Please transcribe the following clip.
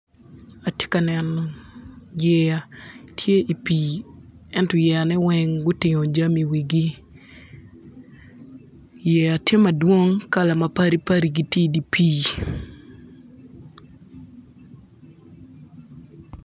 Atye ka neno yeya tye i pii ento yeyane weng gutingo jami iwigi yeya tye madwong kala mapadi padi giti idi pii.